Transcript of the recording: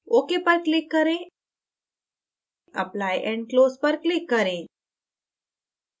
ok पर click करें apply and close पर click करें